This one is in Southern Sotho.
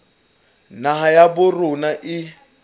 naha ya habo rona e